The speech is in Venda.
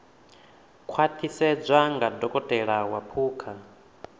khwaṱhisedzwa nga dokotela wa phukha